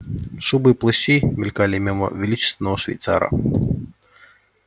шубы и плащи мелькали мимо величественного швейцара